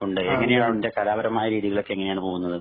ഒണ്ട്. എങ്ങനെയാണ് ഇതിന്‍റെ കലാപരമായ രീതികളൊക്കെ എങ്ങനെയാണ് പോകുന്നത്.